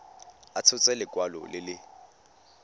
a tshotse lekwalo le le